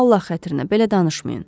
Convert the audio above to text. Allah xatirinə belə danışmayın.